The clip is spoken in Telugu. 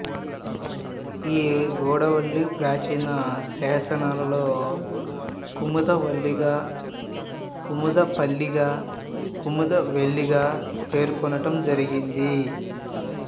ఈ గూడవల్లి ప్రాచీన శాసనాలలో కుముదవల్లిగా కుముదపల్లిగా కుముద వెల్లిగా పేర్కొనటం జరిగింది